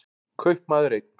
Kaupmaður einn.